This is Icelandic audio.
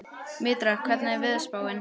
Mítra, hvernig er veðurspáin?